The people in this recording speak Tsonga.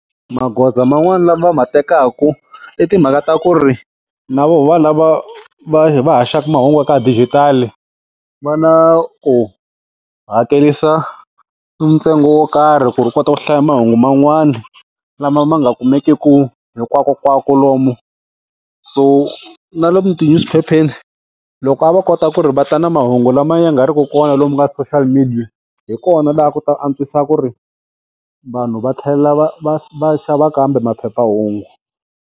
Magoza man'wana lama va ma tekaka i timhaka ta ku ri na voho valava va va haxaka mahungu ya ka dijitali va na ku hakerisa ntsengo wo karhi ku ri u kota ku hlaya mahungu man'wana lama ma nga kumekiki hinkwakonkwako lomu so na lomu ti-newspaper-eni loko a va kota ku ri va ta na mahungu lama ya nga ri ki kona lomu ka ti-social media hi kona laha ku ta antswisa ku ri vanhu va tlhela va va va xava kambe maphephahungu.